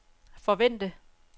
forvente